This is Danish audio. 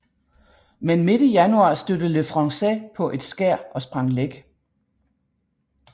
Men midt i januar stødte Le Français på et skær og sprang læk